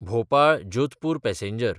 भोपाळ–जोधपूर passenger